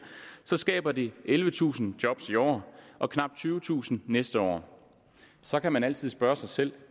skaber det ellevetusind job i år og knap tyvetusind næste år så kan man altid spørge sig selv